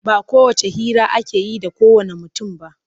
Ba kowacce hira ake yi da kowanne mutum ba.